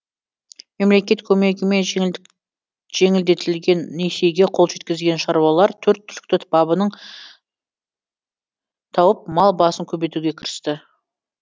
мемлекет көмегімен жеңілдетілген несиеге қол жеткізген шаруалар төрт түліктің бабының тауып мал басын көбейтуге кірісті